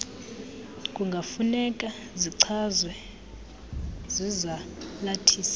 kungafuneka zichazwe zizalathisi